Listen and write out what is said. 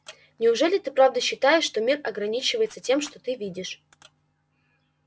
неужели ты правда считаешь что мир ограничивается тем что ты видишь